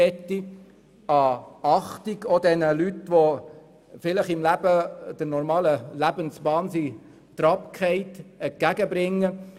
Man möchte den Menschen, die von der normalen Lebensbahn abgekommen sind, Achtung entgegenbringen.